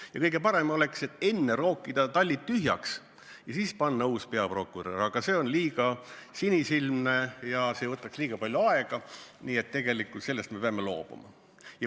Ja kõige parem oleks enne rookida tallid tühjaks ja siis panna ametisse uus peaprokurör, aga see on liiga sinisilmne soov ja see võtaks liiga palju aega, nii et sellest me peame loobuma.